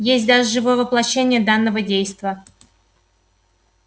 есть даже живое воплощение данного действа